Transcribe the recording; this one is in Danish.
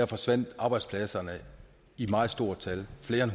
forsvandt arbejdspladser i meget stort tal flere